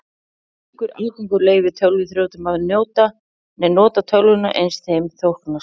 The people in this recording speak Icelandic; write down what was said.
Slíkur aðgangur leyfir tölvuþrjótum að nota tölvuna eins þeim þóknast.